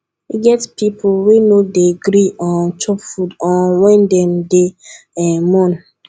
e get pipu wey no dey gree um chop food um wen dem dey um mourn